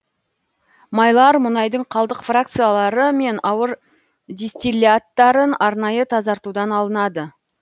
майлар мұнайдың қалдық фракциялары мен ауыр дистилляттарын арнайы тазартудан алынады